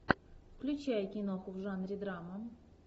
включай киноху в жанре драма